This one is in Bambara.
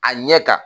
A ɲɛ kan